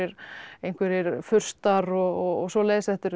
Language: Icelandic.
einhverjir furstar og svoleiðis þetta eru